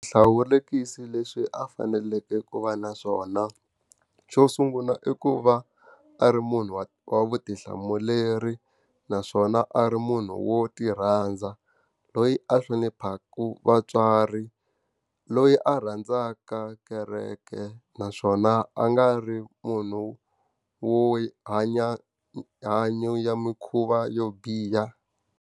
Swihlawulekisi leswi a faneleke ku va na swona. Xo sungula i ku va a ri munhu wa wa vutihlamuleri, naswona a ri munhu wo ti rhandza, loyi a hloniphaka vatswari, loyi a rhandzaka kereke naswona a nga ri munhu wo hanya mahanyelo ya mikhuva yo biha.